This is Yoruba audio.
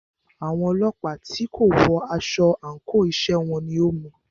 Àwọn ọlọ́pàá tí kò wọ aṣọ àńkò iṣẹ́ wọn ni o mú u.